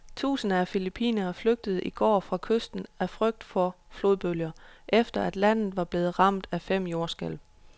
Tusinder af filippinere flygtede i går fra kysten af frygt for flodbølger, efter at landet var blevet ramt af fem jordskælv.